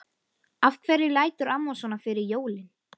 Af hverju lætur amma svona fyrir jólin?